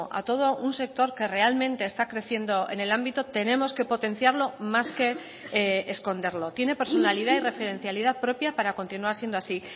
a todo un sector que realmente está creciendo en el ámbito tenemos que potenciarlo más que esconderlo tiene personalidad y referencialidad propia para continuar siendo así